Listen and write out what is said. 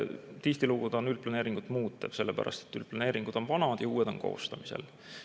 Tihtilugu see on üldplaneeringut muutev, sellepärast et üldplaneeringud on vanad ja uued on koostamisel.